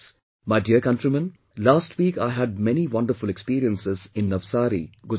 My dear countrymen, last week I had many wonderful experiences in Navsari, Gujarat